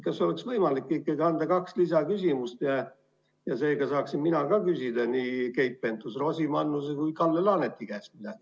Kas oleks võimalik ikkagi anda kaks lisaküsimust ja seega saaksin mina küsida nii Keit Pentus-Rosimannuse kui ka Kalle Laaneti käest?